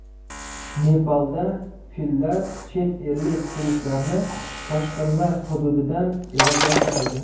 Nepalda fillar chet ellik turistlarni toshqinlar hududidan evakuatsiya qildi.